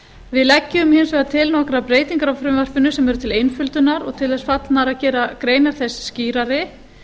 við leggjum hins vegar til nokkrar breytingar á frumvarpinu sem eru til einföldunar og til þess fallnar að gera greinar þess skýrari